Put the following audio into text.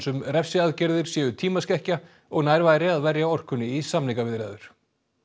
um refsiaðgerðir séu tímaskekkja og nær væri að verja orkunni í samningaviðræður